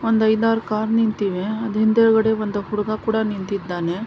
ಒಂದು ಐದಾರು ಕಾರ್ ನಿಂತಿವೆ ಅದು ಹಿಂದೆಗಡೆ ಒಂದು ಹುಡುಗ ಕೂಡ ನಿಂತಿದ್ದಾನೆ .